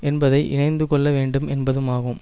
என்பதை இணைந்துகொள்ள வேண்டும் என்பதும்மாகும்